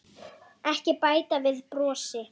Ekki bæta við brosi.